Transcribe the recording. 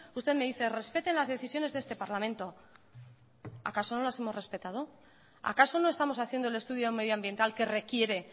usted me dice respete las decisiones de este parlamento acaso no las hemos respetado acaso no estamos haciendo el estudio medioambiental que requiere